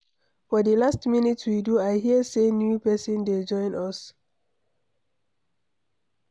For the last meeting we do I hear say new person dey join us.